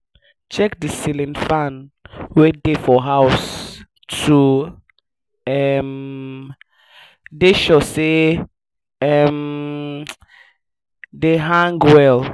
check di ceiling fan wey dey for house to um dey sure sey um dem hang well